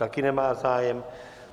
Taky nemá zájem.